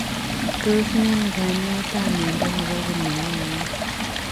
Tos mienoo kanyaet ap miondo nepoo komeiyoo euneek?